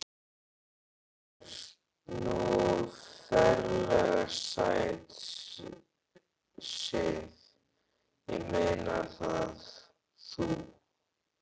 Þú ert nú ferlega sæt, Sif. ég meina það. þú.